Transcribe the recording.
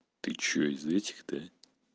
ты что из этих да